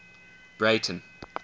breyten